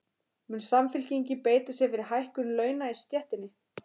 Mun Samfylkingin beita sér fyrir hækkun launa í stéttinni?